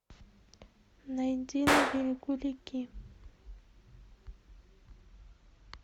найди на берегу реки